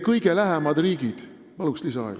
Palun lisaaega!